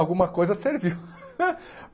Alguma coisa serviu.